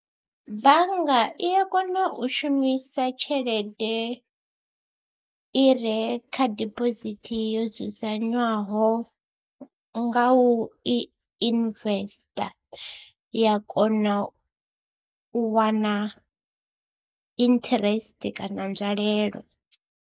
Bannga i ya kona u shumisa tshelede i re kha dibosithi yo dzudzanywaho nga u i investor ya kona u wana interest kana nzwalelo.